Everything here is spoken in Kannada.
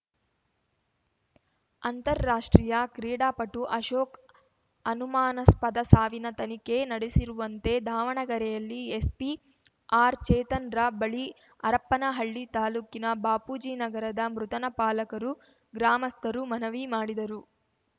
ಅಂತಾರಾಷ್ಟ್ರೀಯ ಕ್ರೀಡಾಪಟು ಅಶೋಕ್‌ ಅನುಮಾನಾಸ್ಪದ ಸಾವಿನ ತನಿಖೆ ನಡೆಸಿರುವಂತೆ ದಾವಣಗೆರೆಯಲ್ಲಿ ಎಸ್ಪಿ ಆರ್‌ಚೇತನ್‌ರ ಬಳಿ ಹರಪನಹಳ್ಳಿ ತಾಲೂಕಿನ ಬಾಪೂಜಿ ನಗರದ ಮೃತನ ಪಾಲಕರು ಗ್ರಾಮಸ್ಥರು ಮನವಿ ಮಾಡಿದರು